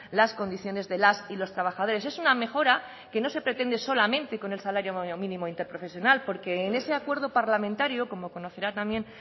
las condiciones de las y los trabajadores es una mejora que no se pretende solamente con el salario mínimo interprofesional porque en ese acuerdo parlamentario como conocerá también